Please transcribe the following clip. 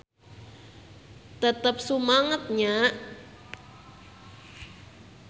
Tetep sumanget nya.